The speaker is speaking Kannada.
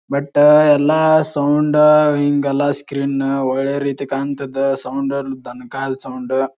ಬಟ್ ಎಲ್ಲಾ ಸೌಂಡ್ ಹಿಂಗ್ ಎಲ್ಲಾ ಸ್ಕ್ರೀನ್ ಒಳ್ಳೆ ರೀತಿ ಕಾಂತದ ಸೌಂಡ್ ತಂಕಾ ಸೌಂಡ್ --